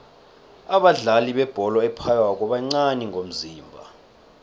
abadlali bebholo ephaywako bancani ngomzimba